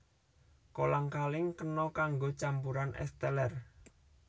Kolang kaling kena kanggo campuran ès teler